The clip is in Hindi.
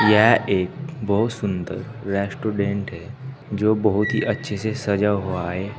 यह एक बहुत सुंदर रेस्टोरेंट है जो बहुत ही अच्छे से सजा हुआ है।